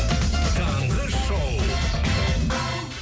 таңғы шоу